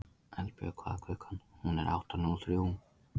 Eldbjörg, hvað er klukkan?